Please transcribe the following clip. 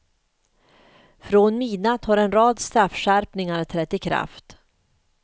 Från midnatt har en rad straffskärpningar trätt i kraft.